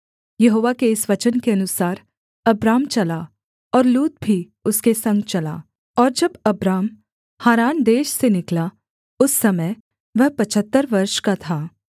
यहोवा के इस वचन के अनुसार अब्राम चला और लूत भी उसके संग चला और जब अब्राम हारान देश से निकला उस समय वह पचहत्तर वर्ष का था